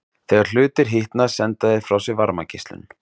Þegar hlutir hitna senda þeir frá sér varmageislun.